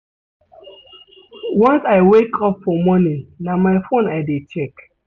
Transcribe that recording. Once I wake up for morning na my phone I dey check.